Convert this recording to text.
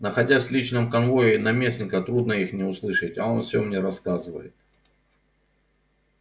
находясь в личном конвое наместника трудно их не услышать а он все мне рассказывает